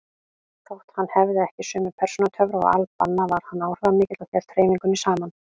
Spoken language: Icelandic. Þótt hann hefði ekki sömu persónutöfra og al-Banna var hann áhrifamikill og hélt hreyfingunni saman.